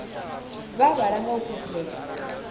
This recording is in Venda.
vha vhala nga u phuphuledza